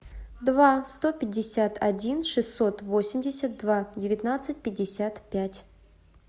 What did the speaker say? два сто пятьдесят один шестьсот восемьдесят два девятнадцать пятьдесят пять